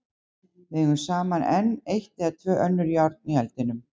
Við eigum samt enn eitt eða tvö önnur járn í eldinum.